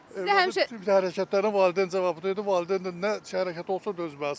Övladın qəribə hərəkətlərinə valideyn cavabıdır, valideyn də nə hərəkət olsa dözməlidir.